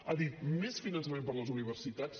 ha dit més finançament per a les universitats